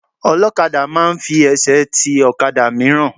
Ọlọ́kadà máa ń fi ẹsẹ̀ ti ọ̀kadà mìíràn.